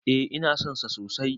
E, ina son sa sosai.